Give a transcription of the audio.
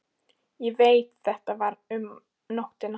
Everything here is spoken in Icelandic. Ég veit það var um nóttina.